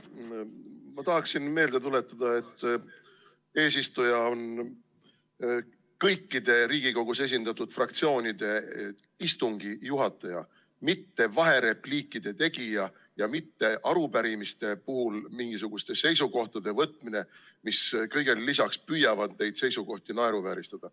Ma tahan meelde tuletada, et eesistuja on kõikide Riigikogus esindatud fraktsioonide istungi juhataja, mitte vaherepliikide tegija ja mitte arupärimiste puhul mingisuguste seisukohtade võtja, mis kõigele lisaks püüavad neid seisukohti naeruvääristada.